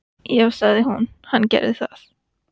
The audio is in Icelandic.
Já, sagði hún, hann gerir það.